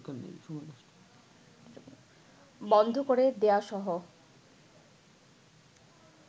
বন্ধ করে দেয়াসহ